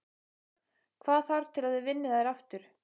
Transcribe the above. Hvað þarf til að þið vinnið þær aftur?